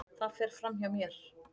Það fer fram hjá mér.